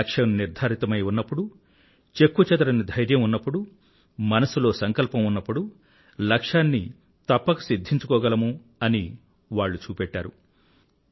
లక్ష్యం నిర్ధారితమై ఉన్నప్పుడు చెక్కుచెదరని ధైర్యం ఉన్నప్పుడు మనసులో సంకల్పం ఉన్నప్పుడు లక్ష్యాన్ని తప్పక సిధ్ధించుకోగలము అని వాళ్లు చూపెట్టారు